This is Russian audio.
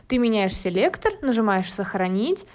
ты меняешь селектор нажимаешь сохранить